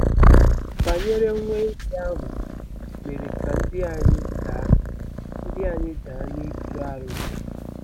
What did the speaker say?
banyere nwa ehi ahụ mere ka ndị anyị daa ndị anyị daa n'ikpere arụsị.